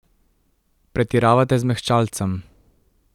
Pretiravate z mehčalcem.